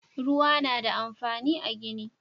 Ruwa na da amfani a gini